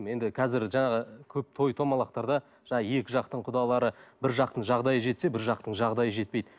енді қазір жаңағы көп той домалақтарда жаңағы екі жақтың құдалары бір жақтың жағдайы жетсе бір жақтың жағдайы жетпейді